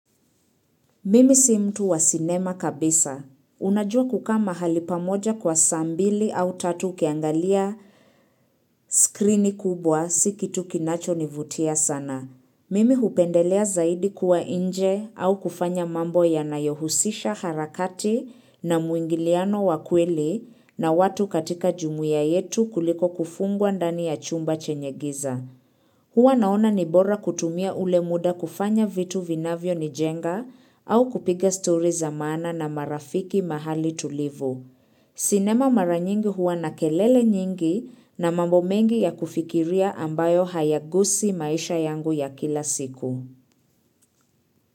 Mimi si mtu wa sinema kabisa. Unajua kukaa mahali pamoja kwa saa mbili au tatu ukiangalia skrini kubwa si kitu kinacho nivutia sana. Mimi hupendelea zaidi kuwa nje au kufanya mambo yanayohusisha harakati na muingiliano wa kweli na watu katika jumuiya yetu kuliko kufungwa ndani ya chumba chenye giza. Huwa naona ni bora kutumia ule muda kufanya vitu vinavyo nijenga au kupiga story za maana na marafiki mahali tulivu. Sinema mara nyingi huwa na kelele nyingi na mambo mengi ya kufikiria ambayo hayagusi maisha yangu ya kila siku.